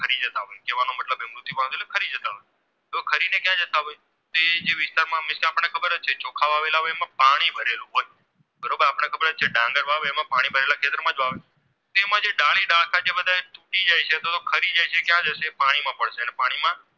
આપણને ખબર જ છે વાવેલા હોય એમાં પાણી ભરેલું હોય બરોબર આપણને ખબર જ હોય ડાંગર વાવે એમાં ખેતરમાં તેમાં જે ડાલી ડાળખાં જે તૂટી જાય છે અથવા તો ખરી જાય છે તે ક્યાં પાણીમાં